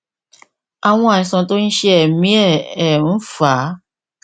àwọn àìsàn tó ń ṣe ẹmí ẹ ẹ ń fà á